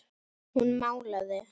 Hún málaði.